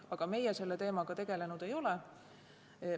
Aga meie selle teemaga tegelenud ei ole.